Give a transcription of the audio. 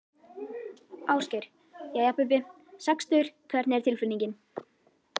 Ásgeir: Jæja Bubbi, sextugur hvernig er tilfinningin?